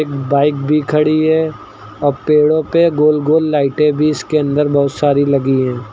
Bike भी खड़ी है और पेड़ों पर गोल गोल लाइटें भी इसके अंदर बहुत सारी लगी है।